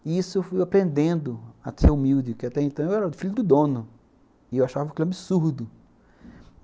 E isso eu fui aprendendo a ser humilde, que até então eu era o filho do dono, e eu achava que era um absurdo.